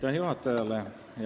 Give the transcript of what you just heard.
Aitäh juhatajale!